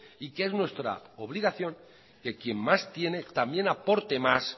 y que es nuestra obligación que quien más tiene también aporte más